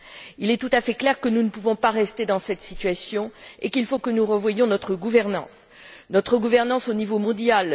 Il est tout à fait clair que nous ne pouvons pas rester dans cette situation et qu'il faut que nous revoyions notre gouvernance au niveau mondial.